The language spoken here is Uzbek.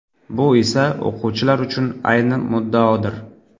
Bu esa o‘quvchilar uchun ayni muddaodir!